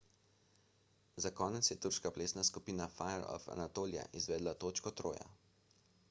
za konec je turška plesna skupina fire of anatolia izvedla točko troja